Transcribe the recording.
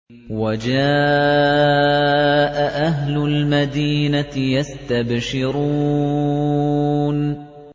وَجَاءَ أَهْلُ الْمَدِينَةِ يَسْتَبْشِرُونَ